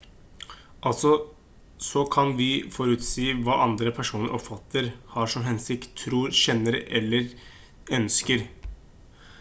altså så kan vi forutsi hva andre personer oppfatter har som hensikt tror kjenner til eller ønsker